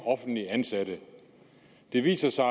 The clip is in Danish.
offentligt ansatte det viser sig